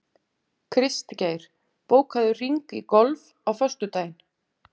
Kristgeir, bókaðu hring í golf á föstudaginn.